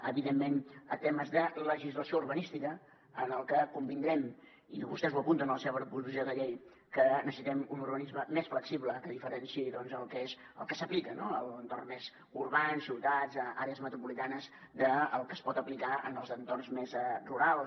evidentment temes de legislació urbanística en els que convindrem i vostès ho apunten en la seva proposició de llei que necessitem un urbanisme més flexible que diferenciï el que s’aplica en l’entorn més urbà en ciutats àrees metropolitanes del que es pot aplicar en els entorns més rurals